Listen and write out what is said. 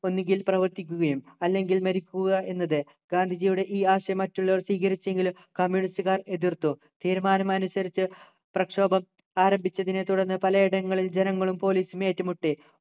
ഒന്നുകിൽ പ്രവർത്തിക്കുകയും അല്ലെങ്കിൽ മരിക്കുക എന്നത് ഗാന്ധിജിയുടെ ഈ ആശയം മറ്റുള്ളവർ സ്വീകരിച്ചെങ്കിലും communist കാർ എതിർത്തു തീരുമാനം അനുസരിച്ച് പ്രക്ഷോഭം ആരംഭിച്ചതിനെ തുടർന്ന് പലയിടങ്ങളിലും ജനങ്ങളും police ഉം ഏറ്റുമുട്ടി